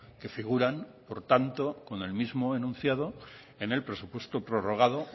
que figuran por tanto con el mismo enunciado en el presupuesto prorrogado